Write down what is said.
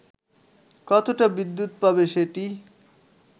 কতটা বিদ্যুৎ পাবে সেটি